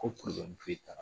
Ko kuru dimi foyi t'a la